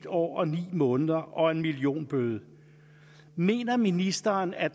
år og ni måneder og en millionbøde mener ministeren at